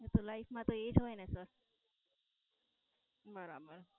એ તો લાઇફ માં તો એ જ હોય ને સર બરાબર.